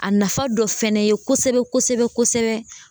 A nafa dɔ fɛnɛ ye kosɛbɛ kosɛbɛ